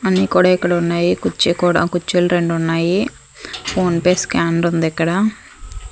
అన్ని కూడా ఇక్కడ ఉన్నాయి కుర్చీ కూడా కుర్చీలు రెండు ఉన్నాయి ఫోన్పే స్కానర్ ఉంది ఇక్కడ.